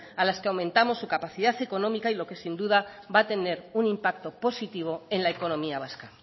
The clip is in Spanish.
a las que aumentamos su capacidad económica lo que sin duda va a tener un impacto positivo en la economía vasca